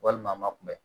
Walima a ma kunbɛ